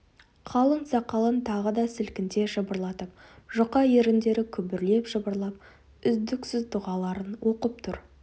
қалың сақалын тағы да сілкінте жыбырлатып жұқа еріндері күбірлей жыбырлап үздіксіз дұғаларын оқып тұр